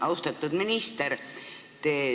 Austatud minister!